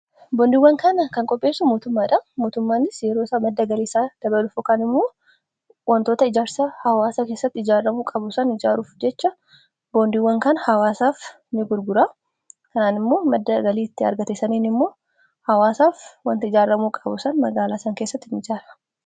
boondiiwwan kana kan qopheessu mootummaanis yeeroosa madda galiiisaa dabalu fokaan immoo wantoota ijaarsa hawaasa kessatti ijaarramuu qabu san ijaaruuf jecha boondiiwwan kan hawaasaaf ni gurgura kanaan immoo madda galiitti argatessaniin immoo hawaasaaf wanti ijaarramuu qabusan magaalaasan keessatti in ijaara